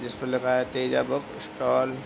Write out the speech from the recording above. इसपे लगा है तेजा बुक स्टाल ।